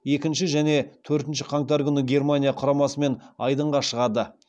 екінші және төртінші қаңтар күні германия құрамасымен айдынға шығады